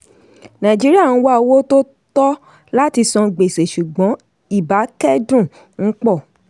nàìjíríà ń wá owó tó tọ́ láti san gbèsè ṣùgbọ́n ibákẹ́dùn ń pọ̀.